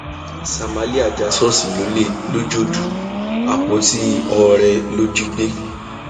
samalia já ṣọọṣì lólè lọjọdù àpótí oore ló jí gbé